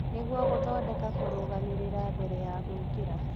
nĩguo gũthondeka kũrũgamĩrĩra mbere ya gwĩkĩra